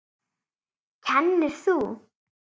Kennir þú?